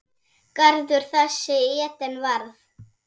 Garður þessi Eden varð.